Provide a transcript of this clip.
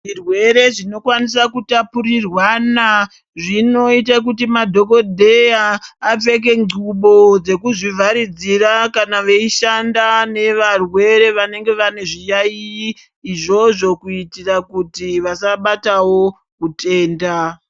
Zvirwere zvinokwanisa kutapurirwana zvinoite kuti madhokodheya apfeka xubo dzekuzvi vharidzira kana veishanda vevarwere vanenge vane zviyaiyi izvozvo kuitira kuti vasabatawo utenda.